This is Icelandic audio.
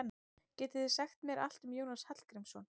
Getið þið sagt mér allt um Jónas Hallgrímsson?